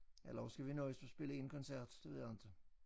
Eller også skal vi nøjes med at spille én koncert det ved jeg inte